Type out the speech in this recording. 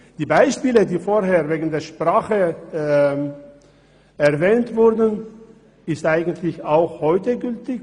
Die Beispiele, die zuvor mit Bezug zur Sprache erwähnt wurden, sind eigentlich auch heute gültig.